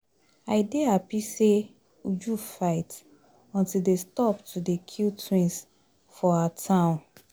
I dey happy say Uju fight until dey stop to dey kill twins for her town